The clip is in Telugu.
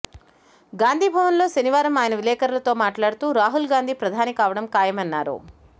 గాంధీభవన్లో శనివారం ఆయన విలేకరులతో మాట్లాడుతూ రాహుల్గాంధీ ప్రధాని కావడం ఖాయమన్నారు